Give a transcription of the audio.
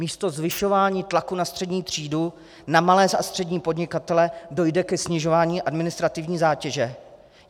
Místo zvyšování tlaku na střední třídu, na malé a střední podnikatele dojde ke snižování administrativní zátěže.